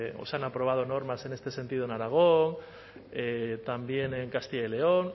o se han aprobado normas en este sentido en aragón también en castilla y león